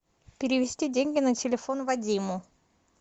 перевести деньги на телефон вадиму